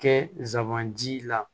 Kɛ zanji la